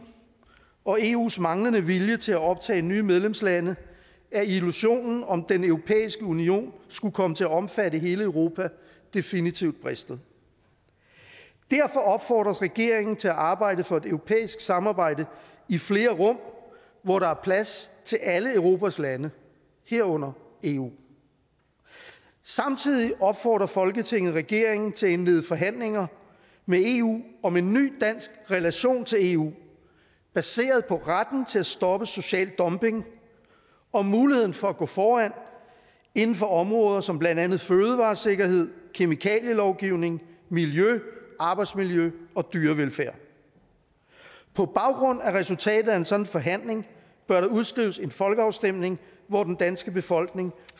og eus manglende vilje til at optage nye medlemslande er illusionen om at den europæiske union skulle komme til at omfatte hele europa definitivt bristet derfor opfordres regeringen til at arbejde for et europæisk samarbejde i flere rum hvor der er plads til alle europas lande herunder eu samtidig opfordrer folketinget regeringen til at indlede forhandlingerne med eu om en ny dansk relation til eu baseret på retten til at stoppe social dumping og muligheden for at gå foran inden for områder som blandt andet fødevaresikkerhed kemikalielovgivning miljø arbejdsmiljø dyrevelfærd på baggrund af resultatet af en sådan forhandling bør der udskrives en folkeafstemning hvor den danske befolkning